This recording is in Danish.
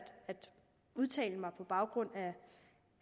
udtale mig på baggrund